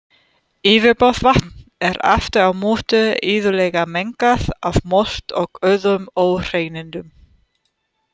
Yfirborðsvatn er aftur á móti iðulega mengað af mold og öðrum óhreinindum.